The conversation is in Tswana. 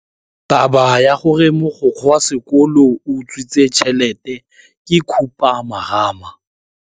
Taba ya gore mogokgo wa sekolo o utswitse tšhelete ke khupamarama.